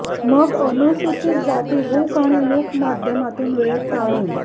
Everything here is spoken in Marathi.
मग अनुसूचित जाती हुक आणि लूप माध्यमातून वेळ ताणून